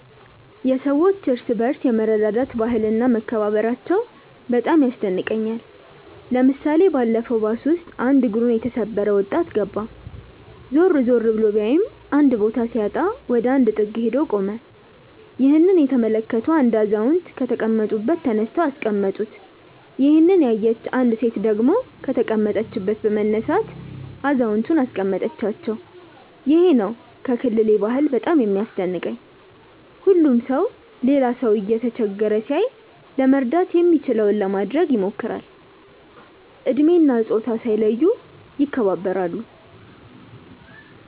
የሰዎች እርስ በርስ የመረዳዳት ባህል እና መከባበራቸው በጣም ያስደንቀኛል። ለምሳሌ ባለፈው ባስ ውስጥ አንድ እግሩን የተሰበረ ወጣት ገባ። ዞር ዞር ብሎ ቢያይም ባዶ ቦታ ሲያጣ ወደ አንድ ጥግ ሄዶ ቆመ። ይህንን የተመለከቱ አንድ አዛውንት ከተቀመጡበት ተነስተው አስቀመጡት። ይሄንን ያየች አንዲት ሴት ደግሞ ከተቀመጠችበት በመነሳት አዛውየንቱን አስቀመጠቻቸው። ይሄ ነው ከክልሌ ባህል በጣም የሚያስደንቀኝ። ሁሉም ሰው ሌላ ሰው እየተቸገረ ሲያይ ለመርዳት የሚችለውን ለማድረግ ይሞክራል። እድሜ እና ፆታ ሳይለዩ ይከባበራሉ።